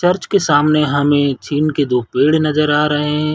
Church के सामने हमें झीन के दो पेड़ नज़र आ रहे हैं।